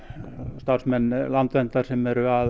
starfsmenn Landverndar sem eru að